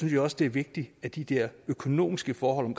jeg også det er vigtigt at de der økonomiske forhold i